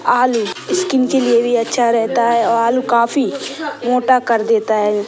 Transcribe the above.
आलू स्किन के लिए भी अच्छा रहता है आलू काफी मोटा कर देता है।